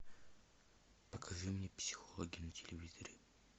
покажи мне психологи на телевизоре